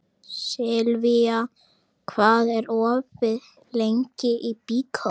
Silvía, hvað er opið lengi í Byko?